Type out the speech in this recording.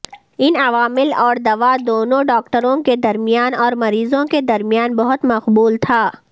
ان عوامل اور دوا دونوں ڈاکٹروں کے درمیان اور مریضوں کے درمیان بہت مقبول تھا